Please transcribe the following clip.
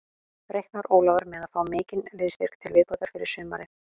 Reiknar Ólafur með að fá mikinn liðsstyrk til viðbótar fyrir sumarið?